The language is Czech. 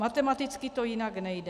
Matematicky to jinak nejde.